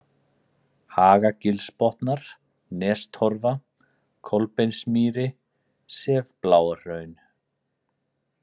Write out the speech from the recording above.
Hagagilsbotnar, Nestorfa, Kolbeinsmýri, Sefbláarhraun